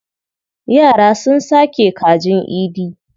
Yara sun sake kajin Idi.